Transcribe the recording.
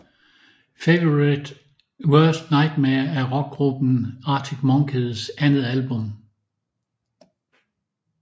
Favourite Worst Nightmare er rockgruppen Arctic Monkeys andet album